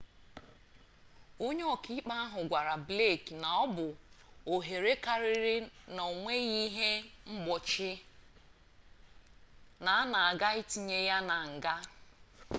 onye oka-ikpe ahu gwara blake na obu ohere kariri na onweghi-ihe mgbochi na ana aga itinye ya na nga